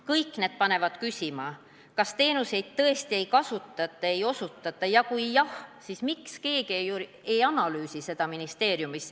" Kõik see paneb küsima, kas teenuseid tõesti ei kasutata ega osutata, ja kui jah, siis miks keegi ei analüüsi seda ministeeriumis.